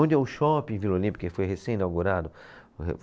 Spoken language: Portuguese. Onde é o Shopping Vila Olímpia que foi recém-inaugurado